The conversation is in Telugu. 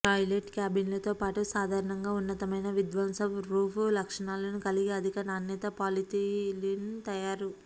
టాయిలెట్ క్యాబిన్లతోపాటు సాధారణంగా ఉన్నతమైన విధ్వంస ప్రూఫ్ లక్షణాలను కలిగి అధిక నాణ్యత పాలిథిలిన్ తయారు